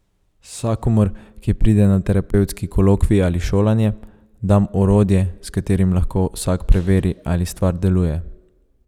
Vsakomur, ki pride na terapevtski kolokvij ali šolanje, dam orodje, s katerim lahko vsak preveri, ali stvar deluje.